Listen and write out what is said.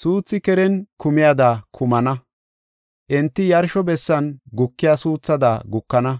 suuthi keren kumiyada kumana; enti yarsho bessan gukiya suuthada gukana.